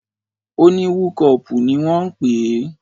O ní wúkọpù ni wọ́n ń pè é.